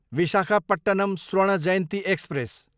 Visakhapatnam Swarna Jayanti express